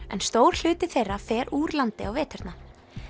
en stór hluti þeirra fer úr landi á veturna